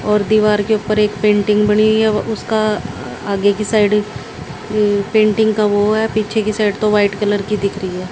और दीवार के ऊपर एक पेंटिंग बनी है उसका आगे की साइड अ पेंटिंग का वो है पीछे की साइड तो वाइट कलर की दिख रही है।